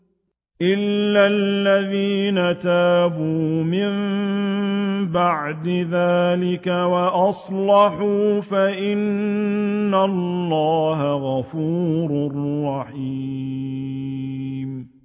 إِلَّا الَّذِينَ تَابُوا مِن بَعْدِ ذَٰلِكَ وَأَصْلَحُوا فَإِنَّ اللَّهَ غَفُورٌ رَّحِيمٌ